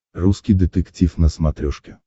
русский детектив на смотрешке